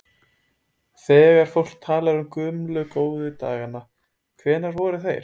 Þegar fólk talar um gömlu, góðu dagana, hvenær voru þeir?